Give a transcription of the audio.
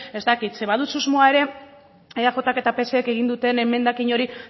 ez dakit ze badut susmoa ere eajk eta psek egin duten emendakin hori